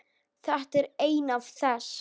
Þetta er ein af þess